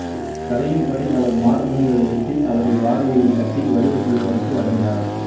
கதையின்படி அவர் மார்பகங்களை வெட்டி அவற்றை வாழை இலையில் கட்டி வரி வசூலிப்பவருக்கு வழங்கினார்